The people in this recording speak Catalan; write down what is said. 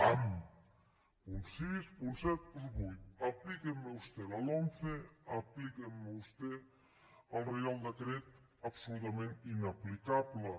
pam punt sis punt set punt vuit aplíqueme usted la lomce aplíqueme ustedes el reial decret absolutament inaplicable